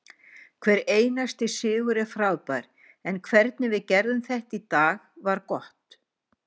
Hver einasti sigur er frábær en hvernig við gerðum þetta í dag var gott.